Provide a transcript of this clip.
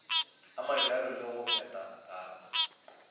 a mabjalo le go phethagata